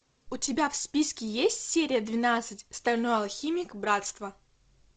у тебя в списке есть серия двенадцать стальной алхимик братство